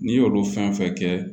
N'i y'olu fɛn fɛn kɛ